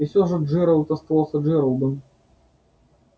и всё же джералд оставался джералдом